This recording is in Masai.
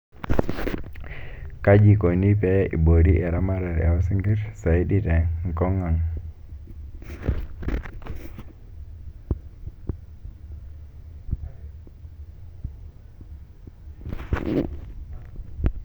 Kaji ikoni pee iboori eramatare oo sinkirr saidi te enkong ang?